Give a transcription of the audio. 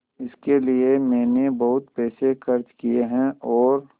इसके लिए मैंने बहुत पैसे खर्च किए हैं और